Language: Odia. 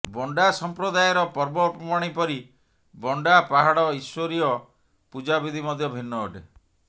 ବଣ୍ଡା ସମ୍ପ୍ରଦାୟର ପର୍ବପର୍ବାଣି ପରି ବଣ୍ଡା ପାହାଡ଼ ଈଶ୍ୱରୀୟ ପୂଜାବିଧି ମଧ୍ୟ ଭିନ୍ନ ଅଟେ